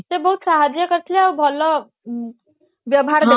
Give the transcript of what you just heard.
ସେ ବହୁତ ସାହାଜ୍ଯ କରିଥିଲେ ଆଉ ସେ ବହୁତ ଭଲ ବ୍ୟବହାର